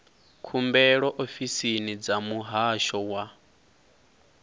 khumbelo ofisini dza muhasho wa